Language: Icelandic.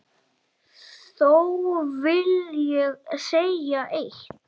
Þó vil ég segja eitt.